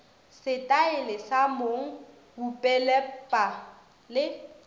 setaele sa mong bupeletpa le